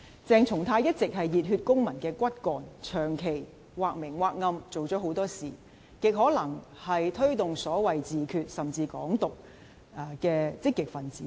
鄭松泰一直是熱血公民的骨幹，長期或明或暗做了很多事，極可能是推動所謂自決，甚至"港獨"的積極分子。